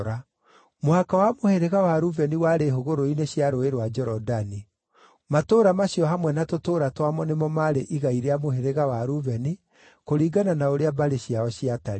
Mũhaka wa mũhĩrĩga wa Rubeni warĩ hũgũrũrũ-inĩ cia Rũũĩ rwa Jorodani. Matũũra macio hamwe na tũtũũra twamo nĩmo maarĩ igai rĩa mũhĩrĩga wa Rubeni, kũringana na ũrĩa mbarĩ ciao ciatariĩ.